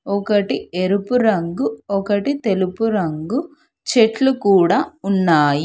ఒకటి ఎరుపు రంగు ఒకటి తెలుపు రంగు చెట్లు కూడా ఉన్నాయి.